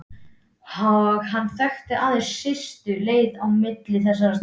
Og hann þekkti aðeins stystu leiðina á milli þessara staða.